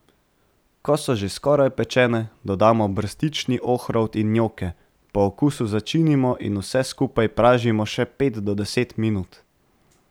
Ko so že skoraj pečene, dodamo brstični ohrovt in njoke, po okusu začinimo in vse skupaj pražimo še pet do deset minut.